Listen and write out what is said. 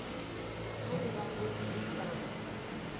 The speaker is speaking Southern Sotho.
ha eba poone e sa